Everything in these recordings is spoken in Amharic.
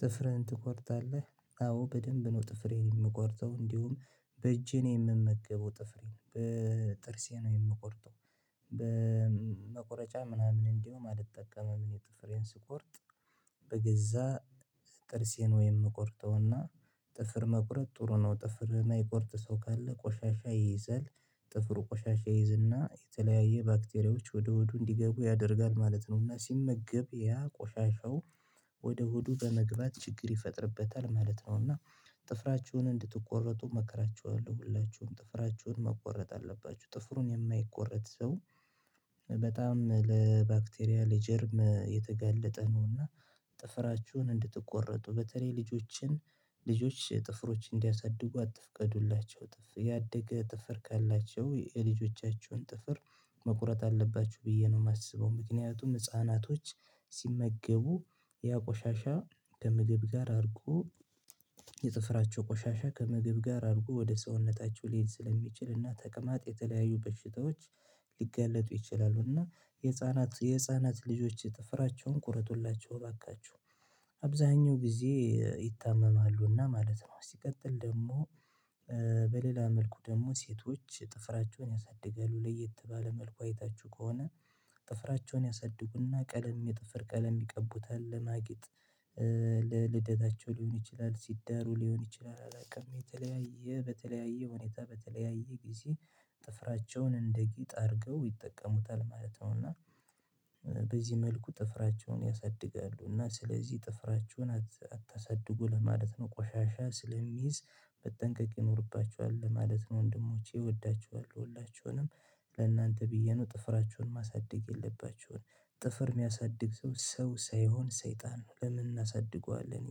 ጥፍርህን ትቆርጣለህ አዎ በደንብ ነው ጥፍሬን እምቆርጠው እንዲሁም በእጄ ነው የምመገበው ጥፍሬን በጥርሴ ነው የምቆርጠው። በመቁረጫ ምናምን እንዲሁ አይጠቀምም የጥፍሬን ስትቆርጥ በገዛ ጥርሴን ነው የምቆርጠውና። ጥፍር መቁረጥ ጥሩ ነው ጥፍር የማይቆርጥ ሰው ካለ ቆሻሻ ይይዘል ጥፍሩ ቆሻሻ ይይዝና የተለያየ ባክቴሪያዎች ወደ ሆዱ እንዲገቡ ያደርጋል ማለት ነው። እና ሲመገብ ያ ቆሻሻው ወደ ሆዱ በመግባት ችግር ይፈጥርበታል ማለት ነው። እና ጥፍራችሁን እንድትቆረጡ እመክራችኋለሁ ሁላችሁም ጥፍራችሁን መቆረጥ አለባችሁ ጥፍሩን የማይቆረጥ ሰው በጣም ለባክቴሪያ ለጀርም የተገለጠ ነውና። ጥፍራችሁን እንድትቆረጡ በተለይ ልጆችን ልጆች ጥፍሮች እንዲያሳድጉ አትፍቀዱላቸው ያደገ ጥፍር ካላቸው የልጆቻችሁን ጥፍር መቁረጥ አለባችሁ ብዬ ነው የማስበው። ምክንያቱም ህፃናቶች ሲመገቡ ያ ቆሻሻ ከምግብ ጋር አድርጎ የጥፍራቸው ቆሻሻ ከምግብ ጋር አድርጎ ወደ ሰውነታቸው ሊሄድ እና ተቅማጥ የተለያዩ በሽታዎች ሊጋለጡ ይችላሉ። እና የህፃናት የህፃናት ልጆች ጥፍራቸውን ቁረጡላቸው እባካችሁ አብዛኛው ጊዜ ይታመማሉና ማለት ነው። ሲቀጥል ደግሞ በሌላ መልኩ ደግሞ ሴቶች ጥፍራቸውን ያሳድጋሉ ለየት ባለ መልኩ አይታችሁ ከሆነ። ጥፍራቸውን ያሳድጉና ቀለም የጥፍር ቀለም ይቀቡታል ለማጊጥ። ለልደታቸው ሊሆን ይችላል ሲዳሩ ሊሆን ይችላል አላውቅም። የተለያየ በተለያየ ሁኔታ በተለያየ ጊዜ ጥፍራቸውን እንደ ጌጥ አድርገው ይጠቀሙታል ማለት ነው። እና በዚህ መልኩ ጥፍራቸውን ያሳድጋሉ እና ስለዚህ ጥፍራችሁን አታሳድጉ ለማለት ነው ቆሻሻ ስለሚይዝ መጠንቀቅ ይኖርባችኋል ለማለት ነው። ወንድሞቼ እወዳችኋለሁ ሁላችሁንም ለእናንተ ብዬ ነው ጥፍራችሁን ማሳደግ የለባችሁም። ጥፍር የሚያሳድግ ሰው ሰው ሳይሆን ሰይጣን ነው። ለምን እናሳድገዋለን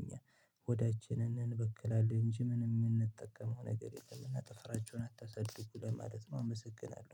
እኛ ሆዳችንን እንበክላለን እንጂ ምንም የምንጠቀመው ነገር የለም። እና ጥፍራችሁን አታሳድጉ ለማለት ነው ምስግናለሁ